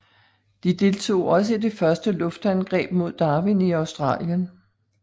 De deltog også i det første luftangreb mod Darwin i Australien